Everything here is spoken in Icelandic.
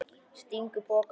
Stingur pokanum í það.